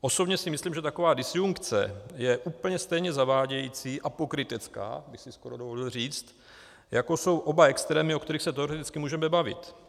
Osobně si myslím, že taková disjunkce je úplně stejně zavádějící a pokrytecká, bych si skoro dovolil říct, jako jsou oba extrémy, o kterých se teoreticky můžeme bavit.